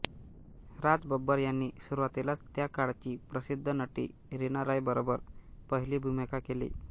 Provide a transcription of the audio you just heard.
राज बब्बर यांनी सुरुवातीलाच त्या काळची प्रसिद्ध नटी रीना राॅय बरोबर पहिली भूमिका केली